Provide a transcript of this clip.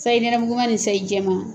Sayi nɛrɛmuguma nii sayi jɛman